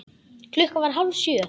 Klukkan var hálf sjö.